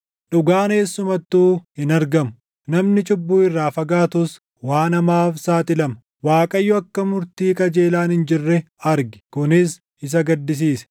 Dhugaan eessumattuu hin argamu; namni cubbuu irraa fagaatus waan hamaaf saaxilama. Waaqayyo akka murtii qajeelaan hin jirre arge; kunis isa gaddisiise.